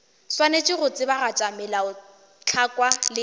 swanetše go tsebagatša melaotlhakwa le